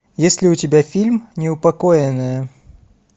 есть ли у тебя фильм неупокоенная